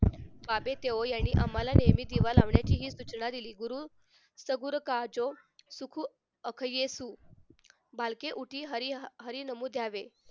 यांनी आम्हाला दररोज दिवा लावण्याची सूचना दिली गुरु साबुर्खजो अक्खये सु बालके उठी हरी नमूद यावे